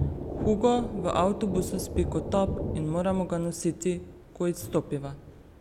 Hugo v avtobusu spi kot top in moram ga nositi, ko izstopiva.